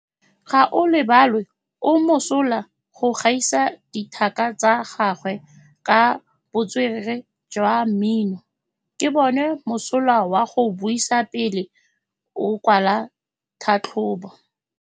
Gaolebalwe o mosola go gaisa dithaka tsa gagwe ka botswerere jwa mmino. Ke bone mosola wa go buisa pele o kwala tlhatlhobô.